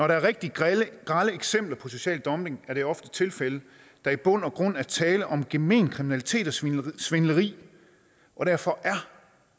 der er rigtig grelle eksempler på social dumping er det ofte tilfældet at der i bund og grund er tale om gemen kriminalitet og svindel svindel og derfor er